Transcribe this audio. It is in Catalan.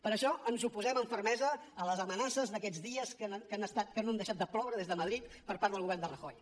per això ens oposem amb fermesa a les amenaces d’aquests dies que no han deixat de ploure des de madrid per part del govern de rajoy